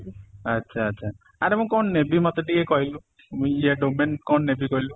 ଆଚ୍ଛା, ଆଚ୍ଛା ଆରେ ମୁଁ କ'ଣ ନେବି ମତେ ଟିକେ କହିଲୁ କ'ଣ ନେବି କହିଲୁ ?